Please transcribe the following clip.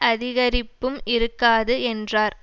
அதிகரிப்பும் இருக்காது என்றார்